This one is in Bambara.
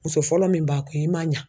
Muso fɔlɔ min b'a kun i ma ɲa.